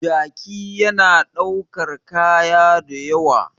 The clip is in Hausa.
Jaki yana daukar kaya da ywa